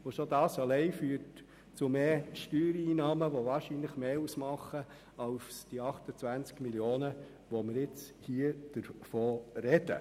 Schon das allein führt zu mehr Steuereinnahmen, die wahrscheinlich mehr ausmachen als diese 28 Mio. Franken, von denen wir heute sprechen.